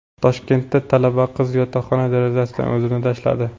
Toshkentda talaba qiz yotoqxona derazasidan o‘zini tashladi.